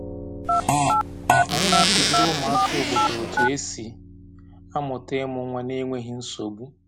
Anyị na-akụziri ụmụaka obodo otu esi amụta ịmụ nwa n’enweghị nsogbu.